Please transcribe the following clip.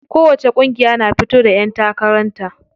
Kowacce ƙungiya na fito da ƴan takaran ta.